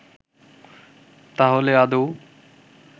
তাহলে আদৌ